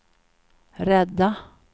rädda